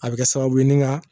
A bɛ kɛ sababu ye nin kan